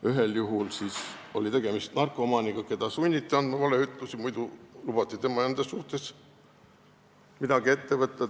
Ühel juhul oli tegemist narkomaaniga, keda sunniti andma valeütlusi, muidu lubati tema enda suhtes midagi ette võtta.